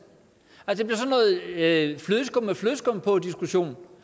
at give to